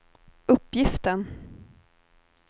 uppgiften